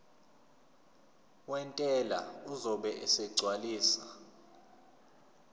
wentela uzobe esegcwalisa